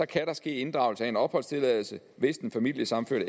kan der ske inddragelse af en opholdstilladelse hvis den familiesammenførte